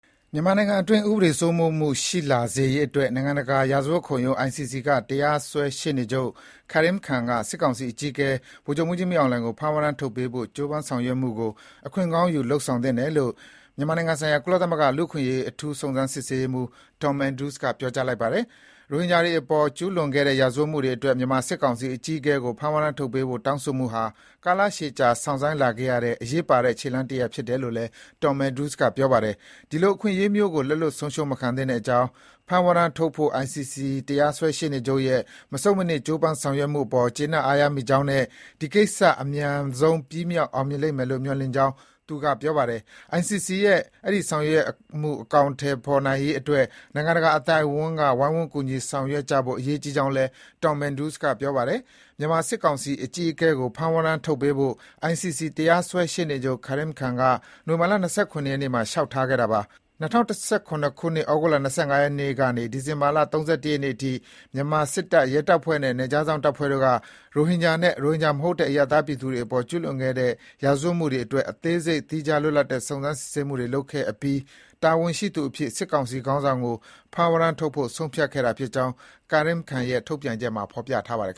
မြန်မာနိုင်ငံအတွင်း ဥပဒေစိုးမိုးမှုရှိလာစေရေးအတွက် နိုင်ငံတကာရာဇဝတ်ခုံရုံး ICC ကတရားစွဲ ရှေ့နေချုပ် Karim Khan က စစ်ကောင်စီအကြီးအကဲ ဗိုလ်ချုပ်မှူးကြီး မင်းအောင်လှိုင်ကို ဖမ်းဝရမ်း ထုတ်ပေးဖို့ ကြိုးပမ်းဆောင်ရွက်မှုကို အခွင့်ကောင်းယူ လုပ်ဆောင်သင့်တယ်လို့ မြန်မာနိုင်ငံဆိုင်ရာ ကုလသမဂ္ဂ လူ့အခွင့်အရေး အထူးစုံစမ်း စစ်ဆေးရေးမှူး Tom Andrews က ပြောကြားလိုက်ပါတယ်။ ရိုဟင်ဂျာတွေအပေါ် ကျူးလွန်ခဲ့တဲ့ ရာဇဝတ်မှုတွေအတွက် မြန်မာစစ်ကောင်စီအကြီးအကဲကို ဖမ်းဝရမ်းထုတ်ပေးဖို့ တောင်းဆိုမှုဟာ ကာလရှည်ကြာ စောင့်ဆိုင်းလာခဲ့ရတဲ့ အရေးပါတဲ့ ခြေလှမ်းတရပ်ဖြစ်တယ်လို့လည်း Tom Andrews က ပြောပါတယ်။ ဒီလိုအခွင့်အရေးမျိုးကို လက်လွတ် ဆုံးရှုံးမခံသင့်ကြောင်း၊ ဖမ်းဝရမ်းထုတ်ဖို့ ICC တရားစွဲ ရှေ့နေချုပ် ရဲ့ မဆုတ်မနစ် ကြိုးပမ်း ဆောင်ရွက်မှုအပေါ် အားရကျေနပ်မိကြောင်းနဲ့ ဒီကိစ္စ အမြန်ဆုံး ပြီးမြောက် အောင်မြင်လိမ့်မယ်လို့ မျှော်လင့်ကြောင်း သူက ပြောပါတယ်။ ICC ရဲ့ ဒီဆောင်ရွက်မှုအကောင်အထည် ဖော်နိုင်ရေးအတွက် နိုင်ငံတကာအသိုက်အဝန်းက ဝိုင်းဝန်း ကူညီဆောင်ရွက်ကြဖို့ အရေးကြီးကြောင်းလည်း Tom Andrews က ပြောပါတယ်။ မြန်မာ စစ်ကောင်စီအကြီးအကဲကို ဖမ်းဝရမ်းထုတ်ပေးဖို့ ICC တရားစွဲရှေ့နေချုပ် Karim Khan က နိုဝင်ဘာ ၂၇ ရက်နေ့မှာ လျှောက်ထားခဲ့တာပါ။ ၂၀၁၇ ခုနှစ် ဩဂုတ်လ ၂၅ ရက်နေ့ကနေ ဒီဇင်ဘာ ၃၁ ရက်နေ့အထိ မြန်မာစစ်တပ်၊ ရဲတပ်ဖွဲ့နဲ့ နယ်ခြားစောင့် တပ်ဖွဲ့တို့က ရိုဟင်ဂျာနဲ့ ရိုဟင်ဂျာမဟုတ်တဲ့ အရပ်သားပြည်သူတွေအပေါ် ကျူးလွန်ခဲ့တဲ့ ရာဇဝတ်မှုတွေအတွက် အသေးစိတ် သီးခြားလွတ်လပ်တဲ့ စုံစမ်း စစ်ဆေးမှုတွေလုပ်ခဲ့အပြီး တာဝန်ရှိသူအဖြစ် စစ်ကောင်စီခေါင်းဆောင်ကို ဖမ်းဝရမ်းတောင်းဖို့ ဆုံးဖြတ်ခဲ့တာဖြစ်ကြောင်း Karim Khan ရဲ့ ထုတ်ပြန်ချက်မှာ ဖော်ပြထားပါတယ်